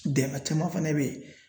Dɛnga caman fɛnɛ be yen.